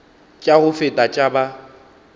tša go feta tša ba